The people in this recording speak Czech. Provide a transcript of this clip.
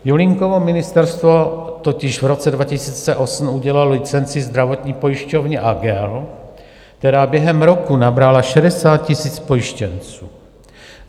Julínkovo ministerstvo totiž v roce 2008 udělilo licenci zdravotní pojišťovně Agel, která během roku nabrala 60 000 pojištěnců.